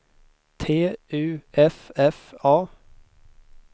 T U F F A